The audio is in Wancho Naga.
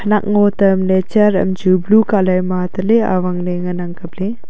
nak ngo tamley charam chu blue colour ma taley awangley ngan ang kapley.